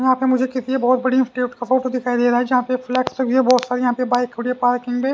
यहाँ मुझे किसी बहुत बड़ी इंस्टिट्यूट का फोटो दिखाई दे रहा है जहां पे फ्लेक्स भी हैबहुत सारी यहां पे बाइक खड़ी है पार्किंग में--